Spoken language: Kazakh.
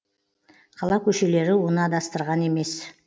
қала көшелері оны адастырған емес